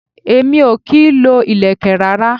Èmi o kì í lo ilẹ̀kè rárá.